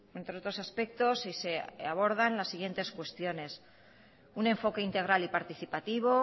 entre otros aspectos y se abordan las siguientes cuestiones un enfoque integral y participativo